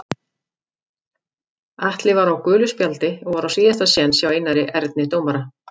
Atli var á gulu spjaldi og var á síðasta séns hjá Einari Erni dómara.